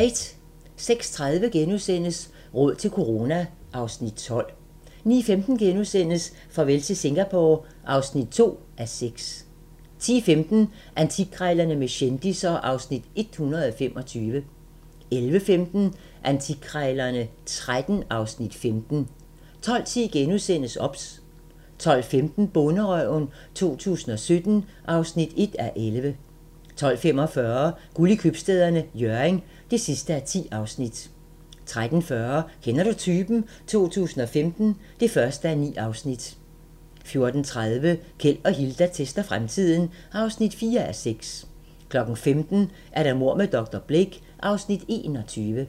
06:30: Råd til corona (Afs. 12)* 09:15: Farvel til Singapore (2:6)* 10:15: Antikkrejlerne med kendisser (Afs. 125) 11:15: Antikkrejlerne XIII (Afs. 15) 12:10: OBS * 12:15: Bonderøven 2017 (1:11) 12:45: Guld i Købstæderne - Hjørring (10:10) 13:40: Kender du typen? 2015 (1:9) 14:30: Keld og Hilda tester fremtiden (4:6) 15:00: Mord med dr. Blake (Afs. 21)